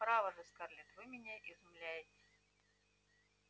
право же скарлетт вы меня изумляете